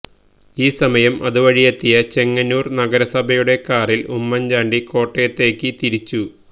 ഈ സമയം അതുവഴിയെത്തിയ ചെങ്ങന്നൂര് നഗരസഭയുടെ കാറില് ഉമ്മന് ചാണ്ടി കോട്ടയത്തേക്ക് തിരിച്ചു